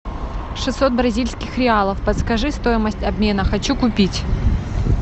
шестьсот бразильских реалов подскажи стоимость обмена хочу купить